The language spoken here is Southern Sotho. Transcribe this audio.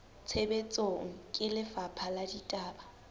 tshebetsong ke lefapha la ditaba